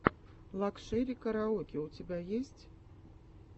лакшери караоке у тебя есть